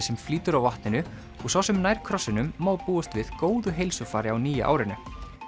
sem flýtur á vatninu og sá sem nær krossinum má búast við góðu heilsufari á nýja árinu